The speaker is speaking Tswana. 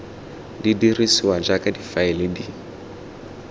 di dirisiwa jaaka difaele di